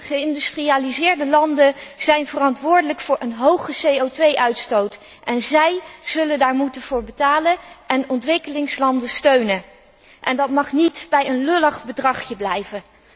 Geïndustrialiseerde landen zijn verantwoordelijk voor een hoge CO 2 uitstoot, en zij zullen daarvoor moeten betalen en ontwikkelingslanden steunen. Dat mag niet bij een lullig bedragje blijven.